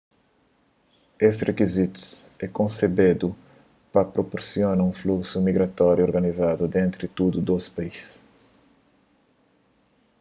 es rikizitus é konsebedu pa prupursiona un fluksu migratóriu organizadu entri tudu dôs país